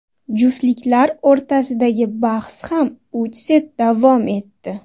Juftliklar o‘rtasidagi bahs ham uch set davom etdi.